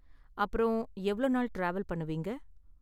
அப்புறம், எவ்வளவு நாள் டிராவல் பண்ணுவீங்க?